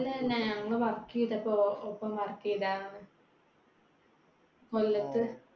അല്ലല്ല. ഞങ്ങൾ work ചെയ്തപ്പോ. ഒപ്പം work ചെയ്തതാണ്. കൊല്ലത്ത്